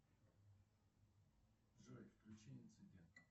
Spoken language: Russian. джой включи инцидент